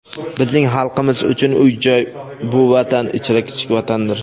Bizning xalqimiz uchun uy-joy – bu Vatan ichra kichik vatandir.